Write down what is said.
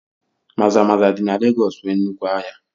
Maza-maza dị na Legọọsị nwee nnukwu ahịa